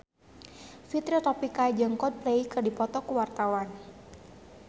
Fitri Tropika jeung Coldplay keur dipoto ku wartawan